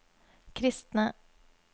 kristne